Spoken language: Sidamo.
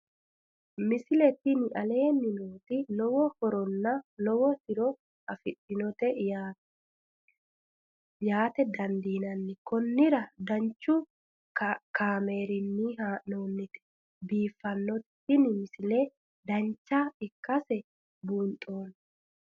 misile tini aleenni nooti lowo horonna lowo tiro afidhinote yaa dandiinanni konnira danchu kaameerinni haa'noonnite biiffannote tini misile dancha ikkase buunxanni